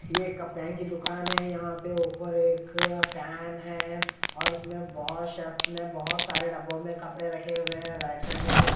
ये कपड़ाइन की दुकान है यहां पे ऊपर एक फैन है और उसमें बहोत सा बहोत सारे डब्बों में कपड़े रखे हुए हैं राइट साइड में भी--